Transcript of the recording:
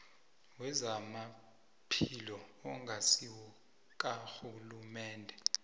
wezamaphilo ongasiwo karhulumende